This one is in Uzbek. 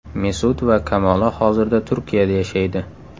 Mesut va Kamola hozirda Turkiyada yashaydi.